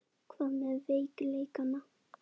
Hvað með veikleikana?